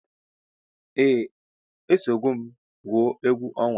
Eeh esogom gwụọ egwu onwa.